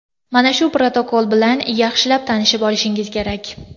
Mana shu protokol bilan yaxshilab tanishib olishingiz kerak.